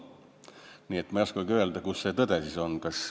Nii et ma ei oskagi öelda, kus see tõde siis on.